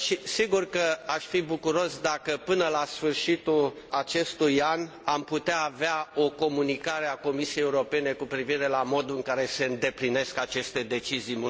Sigur că aș fi bucuros dacă, până la sfârșitul acestui an, am putea avea o comunicare a Comisiei Europene cu privire la modul în care se îndeplinesc aceste decizii.